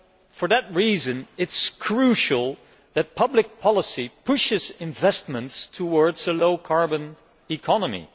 For that reason, it is crucial that public policy pushes investments towards a low carbon economy.